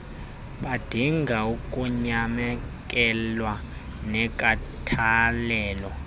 badinga ukunyamekelwa nenkathalelo